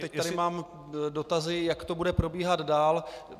Teď tady mám dotazy, jak to bude probíhat dál.